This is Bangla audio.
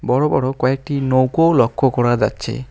বড়ো বড়ো কয়েকটি নৌকোও লক্ষ করা যাচ্ছে।